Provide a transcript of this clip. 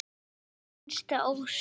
Það var þín hinsta ósk.